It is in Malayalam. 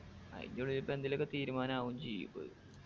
അയിന്റുള്ളിൽ ഇപ്പൊ എന്തേലൊക്കെ തീരുമാനാവും ചെയ്യും